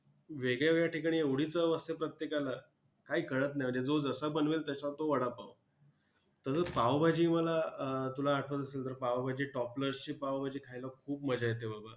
वेगळ्या वेगळ्या ठिकाणी एवढी चव असते प्रत्येकाला काही कळत नाही! म्हणजे जो जसा बनवेल तसा तो वडापाव! तसंच पावभाजी मला अं तुला आठवत असेल तर पावभाजी Top Class ची पावभाजी खायला खूप मजा येते बाबा!